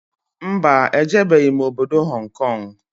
Mba, ejebeghi m obodo Hong Kong